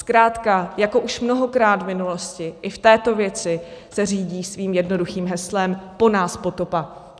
Zkrátka jako už mnohokrát v minulosti i v této věci se řídí svým jednoduchým heslem po nás potopa.